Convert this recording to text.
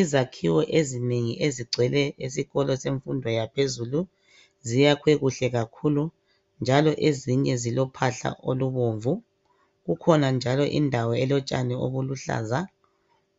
Izakhiwo ezinengi ezigcwele esikolweni senfundoyaphezulu ziyakhwe kuhle kakhulu, njalo ezinye zilophahla olubonvu. Kukhona njalo indawo elotshani obuluhlaza